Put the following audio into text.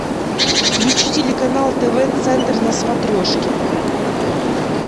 включи телеканал тв центр на смотрешке